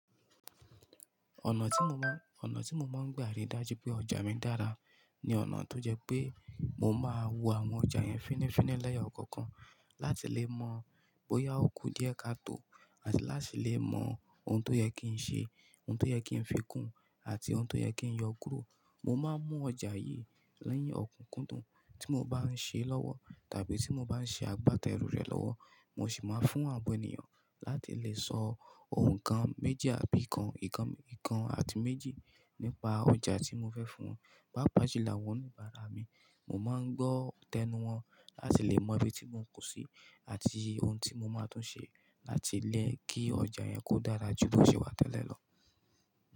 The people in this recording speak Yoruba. Ọ̀nà tí mo má ọnà tí mo máa ń gbà ri dájú pé ọjà mi dára ní ọ̀nà tó jẹ́ pé mo máa wo àwọn ọjà yẹn fínnífínní lẹ́yo kọ̀ọ̀kan láti lè mọ bóyá ó kú díẹ̀ ká tó àti láti lè mọ ohun tó yẹ kí n ṣe, ohun tó yẹ kí n fi kún àti ohun tó yẹ kí n yọ kúrò. Mo máa ń mú ọjà yí ni ọ̀kúnkúndùn tí mo bá ń ṣe lọ́wọ́ tàbí tí mo bá ń ṣe àgbátẹrù rẹ̀ lọ́wọ́. Mo sì máa ń fún àwọn ènìyàn láti lè sọ ohun kan méjì àbí nǹkan kan àti méjì nípa ọjà tí mo fẹ́ fún wọn. Pá pà ṣẹ làwọn oníbàárà mi, mo máa ń gbọ́ tẹ́nu wọ́n láti lè mọ ibi tí mọ́ kù sí àti ohun tí mo máa tún ṣe láti lè kí ọjà yẹn kó dára jù bó ṣe wà tẹ́lẹ̀ lọ.